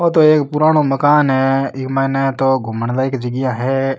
वो तो एक पुराणों मकान है ई माइने तो घुमन लायक जगिया है।